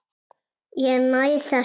Ég næ þessu ekki.